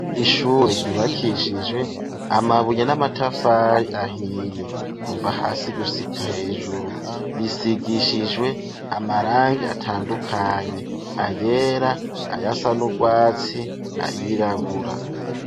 Ishure ryubakishijwe amabuye n'amatafari ahiye, kuva hasi gusika hejuru, risigishijwe amarangi atandukanye ayera ayasanubwatsi, ayirabura.